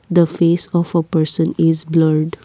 the face of a person is blurred.